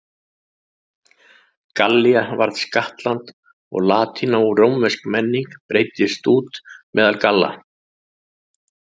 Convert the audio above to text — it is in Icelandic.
Gallía varð skattland og latína og rómversk menning breiddist út meðal Galla.